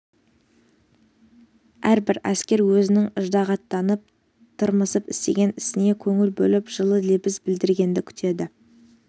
әрбір әскер өзінің ыждағаттанып тырмысып істеген ісіне көңіл бөліп жылы лебіз білдіргенді күтеді